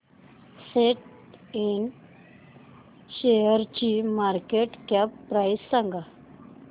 सॅट Ind शेअरची market cap price सांगा